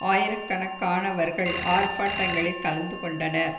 ஆயிர கணக்கானவர்கள் ஆர்ப்பாட்டங்களில் கலந்து கொண்டனர்